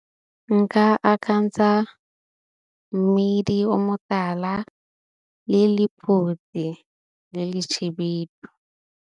Nka akantsha mmidi o motala le le mpotse le le šhebedu .